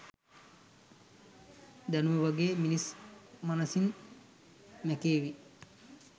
දැනුම වගේ මිනිස් මනසින් මැකේවි.